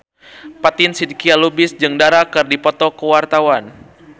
Fatin Shidqia Lubis jeung Dara keur dipoto ku wartawan